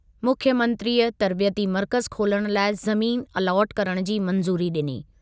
मुख्यमंत्रीअ तर्बियती मर्कज़ु खोलणु लाइ ज़मीन अलॉट करण जी मंज़ूरी ॾिनी।